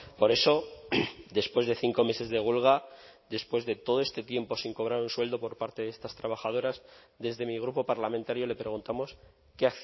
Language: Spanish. por eso después de cinco meses de huelga después de todo este tiempo sin cobrar un sueldo por parte de estas trabajadoras desde mi grupo parlamentario le preguntamos qué